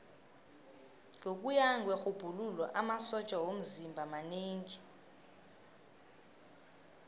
ngokuya kwerhubhululo amasotja womzimba manengi